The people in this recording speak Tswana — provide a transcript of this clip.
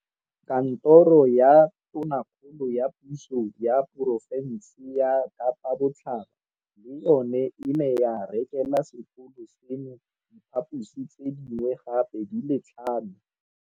Kantoro ya Tona kgolo ya Puso ya Porofense ya Kapa Botlhaba le yona e ne ya rekela sekolo seno diphaposi tse dingwe gape di le tlhano.